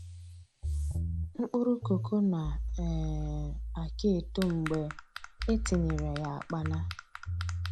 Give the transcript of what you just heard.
Mkpụrụ koko na um aka eto mgbe e tinyere ya akpana